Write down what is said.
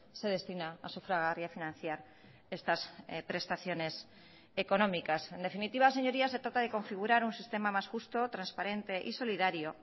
se destina a sufragar y a financiar estas prestaciones económicas en definitiva señorías se trata de configurar un sistema más justo transparente y solidario